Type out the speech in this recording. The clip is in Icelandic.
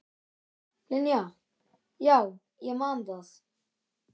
Linja, já ég man það.